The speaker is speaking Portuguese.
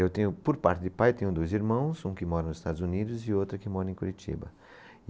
Eu tenho, por parte de pai, eu tenho dois irmãos, um que mora nos Estados Unidos e outra que mora em Curitiba.